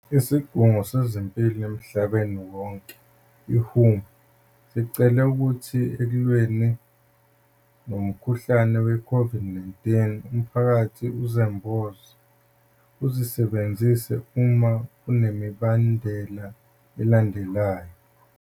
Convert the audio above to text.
Isigungu sezempilo emhlabeni wonke, WHO, sicele ukuthi eklweni nomkhuhlane we-COVID-19 umphakathi izembozo uzisebenzise uma kunalemibandela elandelayo.